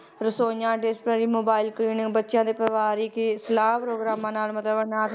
ਰਸੋਈਆਂ dispensary, mobile clinic ਬੱਚਿਆਂ ਦੇ ਪਰਿਵਾਰਕ ਸਲਾਹ ਪ੍ਰੋਗਰਾਮਾਂ ਦੇ ਨਾਲ ਮਤਲਬ ਅਨਾਥ